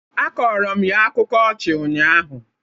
Akọrọ m ya akụkọ ọchị ụnyaahụ